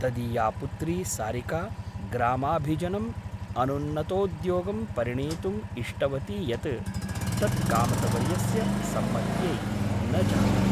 तदीया पुत्री सारिका ग्रामाभिजनम् अनुन्नतोद्योगं परिणेतुम् इष्टवती यत् तत् कामतवर्यस्य सम्मत्यै न जातम् ।